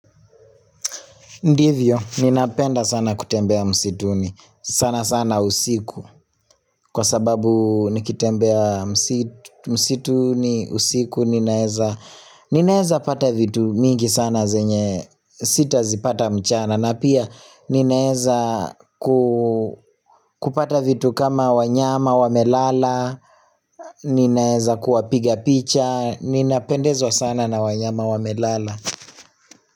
Ndivyo, ninapenda sana kutembea msituni, sana sana usiku, kwa sababu nikitembea msituni, usiku, ninaeza pata vitu mingi sana zenye, sitazipata mchana, na pia ninaeza kupata vitu kama wanyama, wamelala, ninaeza kuwapiga picha, ninapendezwa sana na wanyama wamelala.